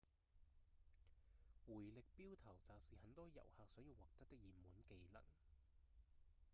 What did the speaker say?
迴力鏢投擲是很多遊客想要獲得的熱門技能